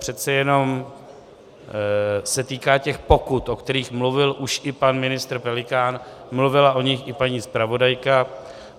Přece jenom se týká těch pokut, o kterých mluvil už i pan ministr Kněžínek, mluvila o nich i paní zpravodajka.